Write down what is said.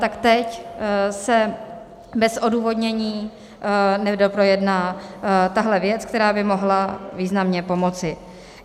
Tak teď se bez odůvodnění nedoprojedná tahle věc, která by mohla významně pomoci.